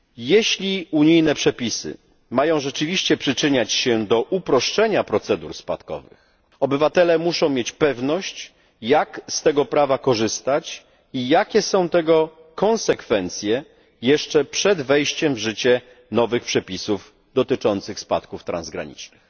Jeśli unijne przepisy mają rzeczywiście przyczyniać się do uproszczenia procedur spadkowych, obywatele muszą mieć pewność, jak z tego prawa korzystać i jakie są tego konsekwencje, jeszcze przed wejściem w życie nowych przepisów dotyczących spadków transgranicznych.